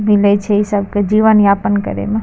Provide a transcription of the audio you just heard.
मिले छै इ सब के जीवन यापन करे में।